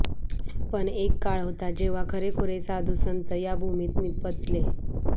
पण एक काळ होता जेव्हा खरेखुरे साधुसंत या भूमीत निपजले